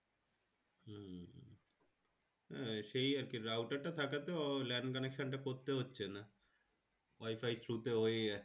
সেই আরকি router থাকাতে lane connection টা করতে হচ্ছে না wi-fi through তে হয়ে যাচ্ছে